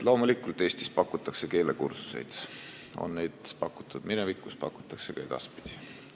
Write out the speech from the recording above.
Loomulikult pakutakse Eestis keelekursuseid, neid on pakutud minevikus ja pakutakse ka edaspidi.